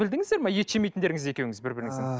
білдіңіздер ме ет жемейтіндеріңізді екеуініз бір біріңіздің